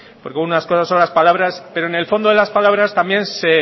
porque unas cosas son las palabras pero en el fondo de las palabras también